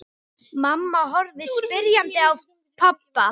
Mamma horfði spyrjandi á pabba.